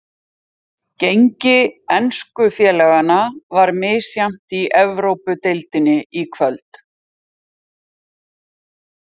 Gengi ensku félaganna var misjafnt í Evrópudeildinni í kvöld.